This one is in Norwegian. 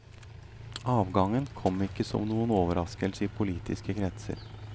Avgangen kom ikke som noen overraskelse i politiske kretser.